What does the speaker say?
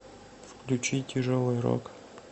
включи тяжелый рок